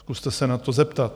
Zkuste se na to zeptat.